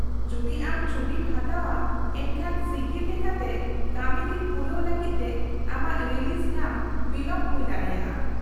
-ᱡᱚᱫᱤ ᱟᱢ ᱪᱷᱩᱴᱤᱢ ᱦᱟᱛᱟᱣᱼᱟ ᱮᱱᱠᱷᱟᱱ ᱥᱤᱜᱤᱞ ᱞᱮᱠᱟᱛᱮ ᱠᱟᱹᱢᱤᱫᱤᱱ ᱯᱩᱨᱟᱹᱣ ᱞᱟᱹᱜᱤᱫ ᱛᱮ ᱟᱢᱟᱜ ᱨᱤᱞᱤᱡᱽ ᱧᱟᱢ ᱵᱤᱞᱚᱢ ᱦᱩᱭ ᱫᱟᱲᱮᱭᱟᱜᱼᱟ ᱾